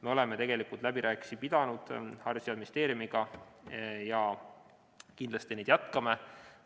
Me oleme tegelikult Haridus- ja Teadusministeeriumiga läbirääkimisi pidanud ja kindlasti neid jätkame.